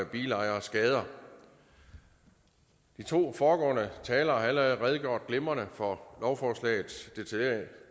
bilejeres skader de to foregående talere har allerede redegjort glimrende for lovforslagets